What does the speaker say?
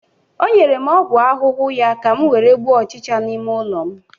o nyere m ọgwụ ahụhụ ya ka m were gbuo ọchịcha n'ime ụlọ m